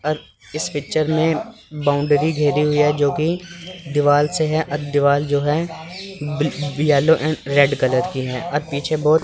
और इस पिक्चर में बाउंड्री घेरी हुई है जो कि दीवाल से है अ दीवाल जो है बी येलो एंड रेड कलर की है और पीछे बहुत--